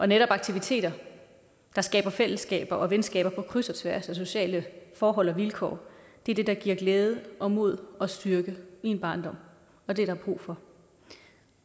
netop aktiviteter der skaber fællesskaber og venskaber på kryds og tværs af sociale forhold og vilkår er det der giver glæde og mod og styrke i en barndom og det er der brug for